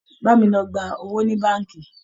Bá mi lọ gba owó ní báǹkì!